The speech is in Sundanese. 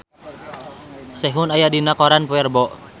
Sehun aya dina koran poe Rebo